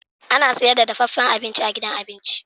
Ana sayar da dafaffen abinci a gidan abin ci.